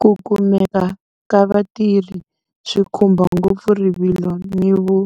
Ku kumeka ka vatirhi swi khumba ngopfu rivilo ni vu,